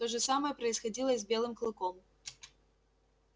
то же самое происходило и с белым клыком